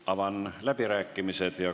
Avan läbirääkimised.